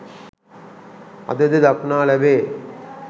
අදද දක්නා ලැබේ